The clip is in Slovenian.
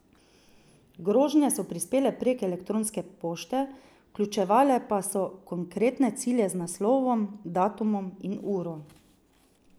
Grožnje so prispele prek elektronske pošte, vključevale pa so konkretne cilje z naslovom, datumom in uro.